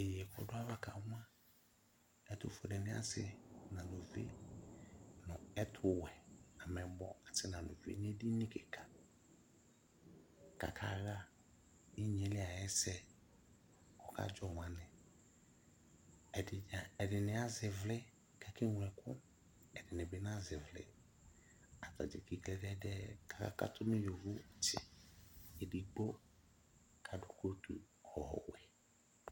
Iye kʋ ɔdʋ ayava kamʋa ɛtʋfuelenɩ asɩ nʋ aluvi nʋ ɛtʋwɛ, ameyibɔ asɩ nʋ aluvi nʋ edini kɩka kʋ akaɣa inye yɛ li ayʋ ɛsɛ kʋ ɔkadzɔ mʋ anɛ Ɛdɩ na ɛdɩnɩ azɛ ɩvlɩ kʋ akeŋlo ɛkʋ Ɛdɩnɩ bɩ nazɛ ɩvlɩ Ata dza eki klɛdɛdɛɛ kʋ akakatʋ nʋ yovotsɩ Edigbo adʋ kotu ɔwɛ